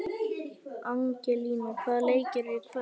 Angelína, hvaða leikir eru í kvöld?